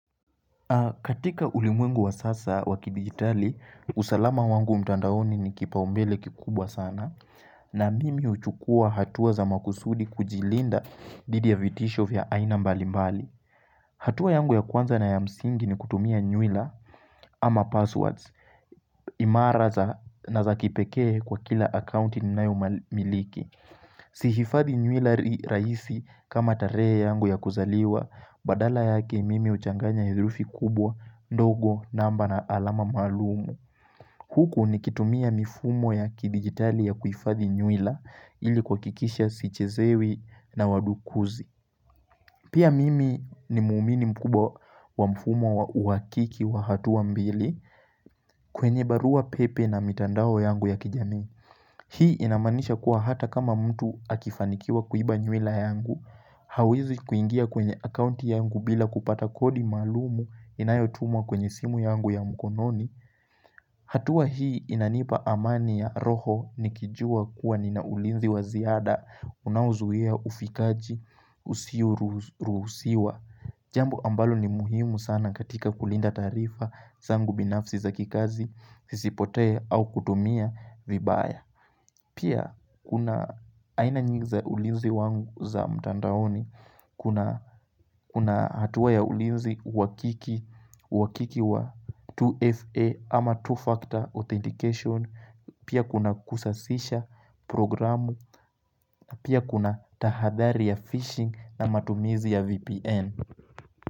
Katika ulimwengu wa sasa wa kidigitali, usalama wangu mtandaoni ni kipaumbele kikubwa sana na mimi huchukua hatua za makusudi kujilinda didi ya vitisho vya aina mbali mbali. Hatuwa yangu ya kwanza na ya msingi ni kutumia nywila ama passwords imara na za kipekee kwa kila akaunti ninayomiliki. Si hifadhi nywila raisi kama tarehe yangu ya kuzaliwa Badala yake mimi huchanganya herufi kubwa ndogo namba na alama maalumu Huku nikitumia mifumo ya kidigitali ya kuhifadhi nywila ili kuhakikisha sichezewi na wadukuzi Pia mimi ni mwamini mkubwa wa mfumo wa uhakiki wa hatuwa mbili kwenye barua pepe na mitandao yangu ya kijamii Hii inamanisha kuwa hata kama mtu akifanikiwa kuiba nywila yangu. Hawezi kuingia kwenye akaunti yangu bila kupata kodi maalumu inayotumwa kwenye simu yangu ya mkononi. Hatua hii inanipa amani ya roho nikijua kuwa nina ulinzi wa ziada, unaozuhia ufikaji, usioruhusiwa. Jambo ambalo ni muhimu sana katika kulinda taarifa zangu binafsi za kikazi, sisipotee au kutumia vibaya. Pia kuna aina nyingi za ulinzi wangu za mtandaoni, kuna hatuwa ya ulinzi uhakiki wa 2FA ama two-factor authentication, pia kuna kusasisha programu, pia kuna tahadhari ya phishing na matumizi ya VPN.